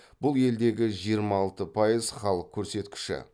бұл елдегі жиырма алты пайыз халық көрсеткіші